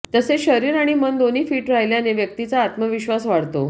तसेच शरीर आणि मन दोन्ही फिट राहिल्याने व्यक्तीचा आत्मविश्वास वाढतो